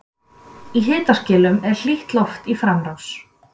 Í hitaskilum er hlýtt loft í framrás.